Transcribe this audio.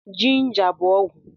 jinja bú ọgwụ